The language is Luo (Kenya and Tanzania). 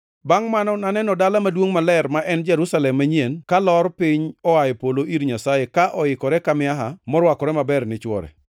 Bangʼe naneno Dala Maduongʼ Maler, ma en Jerusalem manyien kalor piny oa e polo ir Nyasaye, ka oikore ka miaha morwakore maber ni chwore.